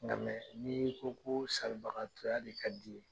Nga ni ko ko salibagatɔya de ka di ye